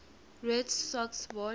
red sox won